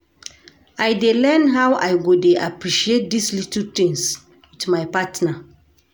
I dey learn how I go dey appreciate dese little tins wit my partner.